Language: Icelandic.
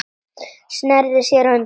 Sneri sér undan.